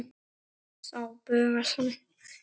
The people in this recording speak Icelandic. Þá bugast hann.